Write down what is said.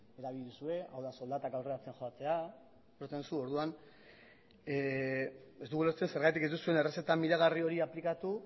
erabili duzue hau da soldatak aurreratzen joatea ulertzen duzu orduan ez dugu ulertzen zergatik ez duzuen errezeta miragarri hori aplikatu